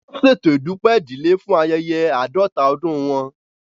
Wọn ṣeto Idupẹ idile fun ayẹyẹ aadọta ọdun wọn